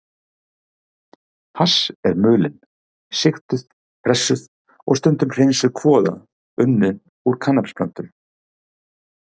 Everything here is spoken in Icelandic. Hass er mulin, sigtuð, pressuð og stundum hreinsuð kvoða unnin úr kannabisplöntum.